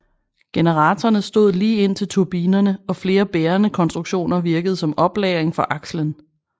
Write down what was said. Generatorerne stod lige ind til turbinerne og flere bærende konstruktioner virkede som oplagring for akslen